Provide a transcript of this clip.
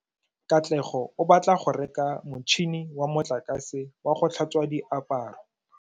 Katlego o batla go reka motšhine wa motlakase wa go tlhatswa diaparo.